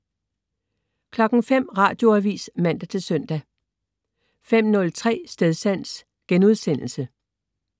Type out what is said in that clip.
05.00 Radioavis (man-søn) 05.03 Stedsans*